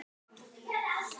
Róbert: Geta þeir það?